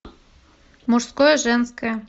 мужское женское